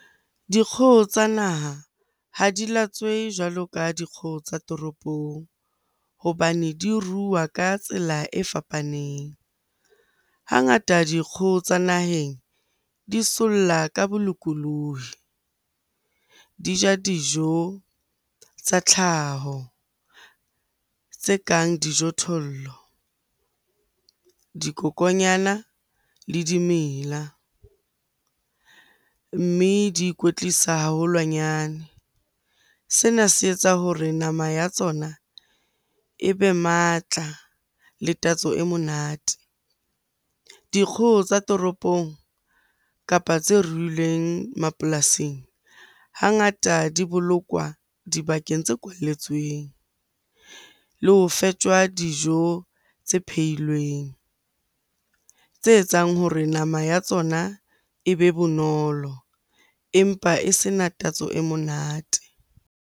Dikgoho tsa naha ha di latswehe jwalo ka dikgoho tsa toropong hobane di rua ka tsela e fapaneng. Hangata, dikgoho tsa naheng di solla ka bolokolohi, di ja dijo tsa tlhaho tse kang dijothollo, dikokonyana le dimela, mme di ikwetlisa haholwanyane. Sena se etsa hore nama ya tsona ebe matla le tatso e monate. Dikgoho tsa toropong, kapa tse ruilweng mapolasing hangata di bolokwa dibakeng tse kwalletsweng le o fetjwa dijo tse pheilweng tse etsang hore nama ya tsona ebe bonolo empa e sena tatso e monate.